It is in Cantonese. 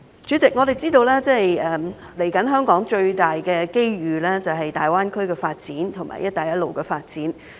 主席，我們知道香港接下來最大的機遇便是粵港澳大灣區和"一帶一路"的發展。